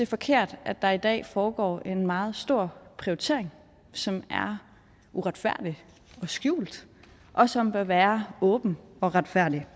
forkert at der i dag foregår en meget stor prioritering som er uretfærdig og skjult og som bør være åben og retfærdig